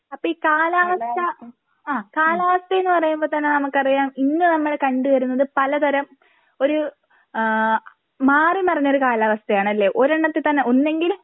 അപ്പോ ഈ കാലാവസ്ഥ ആ കാലാവസ്ഥ എന്നു പറയുമ്പോ തന്നെ നമുക്കറിയാം ഇന്ന് നമ്മള് കണ്ടുവരുന്നത് പലതരം ഒരു ഏഹ് മാറിമറിഞ്ഞൊരു കാലാവസ്ഥയാണല്ലേ ഒരെണ്ണത്തിൽ തന്നെ ഒന്നെങ്കിൽ